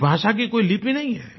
इस भाषा की कोई लिपि नहीं है